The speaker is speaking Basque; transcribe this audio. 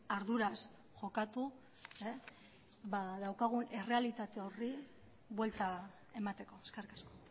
arduraz jokatu daukagun errealitate horri buelta emateko eskerrik asko